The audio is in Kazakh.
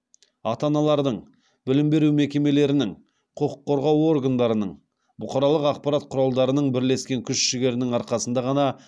ата аналардың білім беру мекемелерінің құқық қорғау органдарының бұқаралық ақпарат құралдарының бірлескен күш жігерінің арқасында ғана